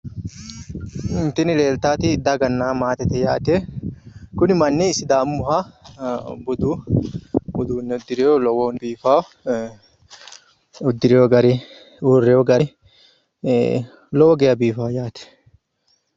Tini leeltaati daganna maatete yaate kuni manni sidaamuyiiha budu uduunne uddirewo lowohunni biifawo uddirewo gari uurrewo gari lowo geyaa biifa yaate